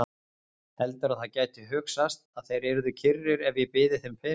Heldurðu að það gæti hugsast að þeir yrðu kyrrir ef ég byði þeim peninga?